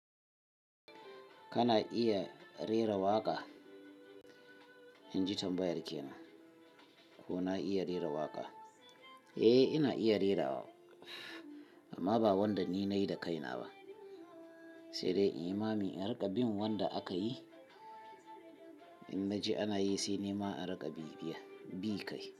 Kana iya rera waƙa? In ji tambayar kenan. Ko na iya rera waƙa? Eh, ina iya rerawa amma ba wanda ni nayi da kaina ba, sai dai in yi mami in riƙa bin wanda aka yi. In na ji ana yi sai nima in riƙa bibiya bi kai.